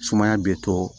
Sumaya be to